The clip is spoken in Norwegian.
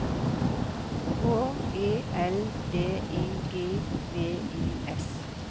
H E L D I G V I S